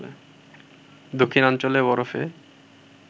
দক্ষিণাঞ্চলে বরফে